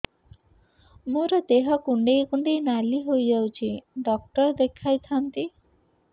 ମୋର ଦେହ କୁଣ୍ଡେଇ କୁଣ୍ଡେଇ ନାଲି ହୋଇଯାଉଛି ଡକ୍ଟର ଦେଖାଇ ଥାଆନ୍ତି